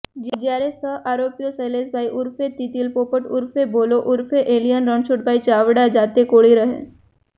જ્યારે સહ આરોપી શૈલેષભાઇ ઉર્ફે તીતલીપોપટ ઉર્ફે ભોલો ઉર્ફે એલીયન રણછોડભાઇ ચાવડા જાતે કોળી રહે